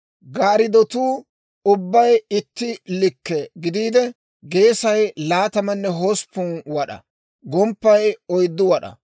Gaariddotuu ubbay itti likke gidiide, geesay laatamanne hosppun wad'aa; gomppay oyddu wad'aa.